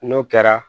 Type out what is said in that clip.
N'o kɛra